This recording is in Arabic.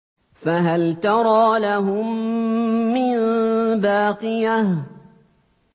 فَهَلْ تَرَىٰ لَهُم مِّن بَاقِيَةٍ